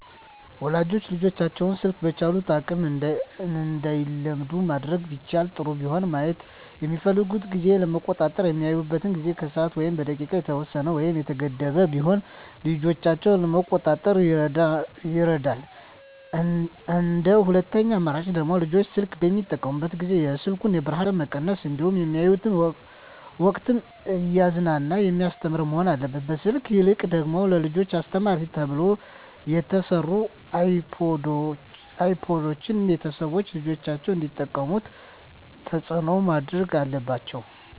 ወላጆች ልጆቻቸውን ስልክ በቻሉት አቅም እንዳይለምዱ ማድረግ ቢችሉ ጥሩ ቢሆንም ማየት በሚፈልጉበት ጊዜ ለመቆጣጠር በሚያዩበት ጊዜ በሰዓት ወይም በደቂቃ የተወሰነ ወይም የተገደበ ቢሆን ልጆችን ለመቆጣጠር ይረዳል እንደ ሁለተኛ አማራጭ ደግሞ ልጆች ስልክ በሚጠቀሙበት ጊዜ የስልኩን የብርሀኑን መጠን መቀነስ እንዲሁም በሚያዩበት ወቅትም እያዝናና በሚያስተምር መሆን አለበት ከስልክ ይልቅ ደግሞ ለልጆች አስተማሪ ተብለው የተሰሩ አይፓዶችን ቤተሰቦች ልጆች እንዲጠቀሙት ተፅዕኖ ማድረግ አለባቸው።